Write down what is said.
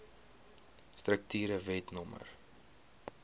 strukture wet no